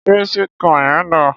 Ṣé sweet corn yẹn dáa?